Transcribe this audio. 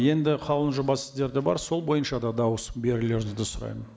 енді қаулының жобасы сіздерде бар сол бойынша да дауыс берулеріңізді сұраймын